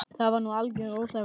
Það var nú algjör óþarfi.